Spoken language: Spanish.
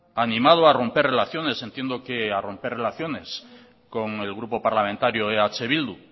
animado a romper relaciones entiendo que a romper relaciones con el grupo parlamentario eh bildu